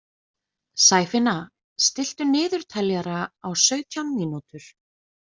Sæfinna, stilltu niðurteljara á sautján mínútur.